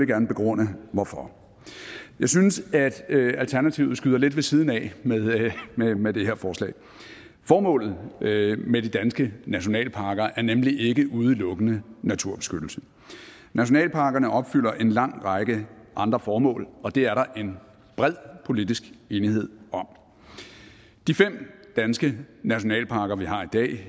gerne begrunde hvorfor jeg synes at alternativet skyder lidt ved siden af med med det her forslag formålet med med de danske nationalparker er nemlig ikke udelukkende naturbeskyttelse nationalparkerne opfylder en lang række andre formål og det er der en bred politisk enighed om de fem danske nationalparker vi har i dag